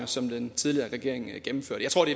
som den tidligere regering gennemførte jeg tror det